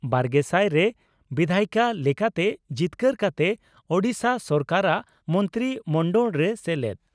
ᱵᱟᱨᱜᱮᱥᱟᱭ ᱨᱮ ᱵᱤᱫᱷᱟᱭᱤᱠᱟ ᱞᱮᱠᱟᱛᱮ ᱡᱤᱛᱠᱟᱹᱨ ᱠᱟᱛᱮ ᱳᱰᱤᱥᱟ ᱥᱚᱨᱠᱟᱨᱟᱜ ᱢᱚᱱᱛᱨᱤ ᱢᱚᱱᱰᱚᱲ ᱨᱮ ᱥᱮᱞᱮᱫ ᱾